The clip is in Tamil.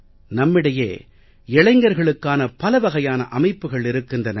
நம்மிடையே இளைஞர்களுக்கான பலவகையான அமைப்புக்கள் இருக்கின்றன